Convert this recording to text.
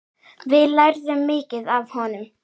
Við lærðum mikið af honum.